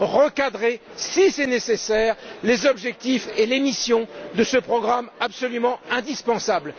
recadrer, si c'est nécessaire, les objectifs et les missions de ce programme absolument indispensable.